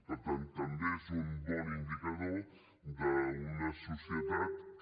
per tant també és un bon indicador d’una societat que